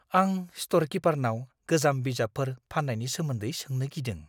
आं स्ट'र किपारनाव गोजाम बिजाबफोर फान्नायनि सोमोन्दै सोंनो गिदों।